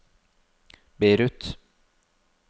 Beirut